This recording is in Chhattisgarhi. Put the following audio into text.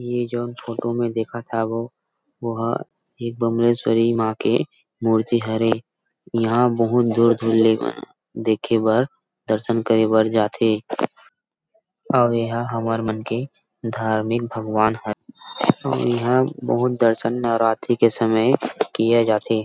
ये जोन फोटो में देखत हव वह एक बमलेश्वरी माँ के मूर्ति हरे यहां बहुत दूर-दूर ले देखे बर दर्शन करे बर जा थे अउ एहा हमर मन के धार्मिक भगवान अऊ यहाँ बहुत दर्शन नवरात्रि के समय किया जा थे।